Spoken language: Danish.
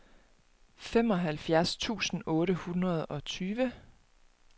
femoghalvfjerds tusind otte hundrede og tyve